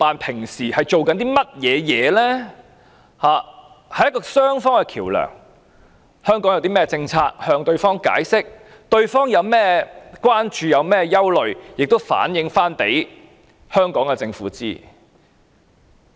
他們本應擔當雙方的橋樑，香港有何政策，便要向對方解釋，對方有何關注和憂慮，亦要向香港政府反映。